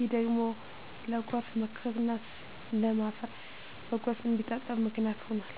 ይህ ደግሞ ለጎርፍ መከሰትና ለም አፈር በጎርፍ እንዲታጠብ ምክንያት ሆኗል።